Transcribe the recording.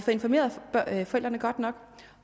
informeret forældrene godt nok